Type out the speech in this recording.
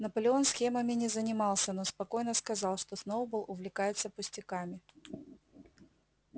наполеон схемами не занимался но спокойно сказал что сноуболл увлекается пустяками